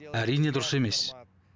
әрине дұрыс емес